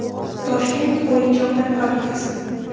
Toshkent o‘yinchoqlar fabrikasi.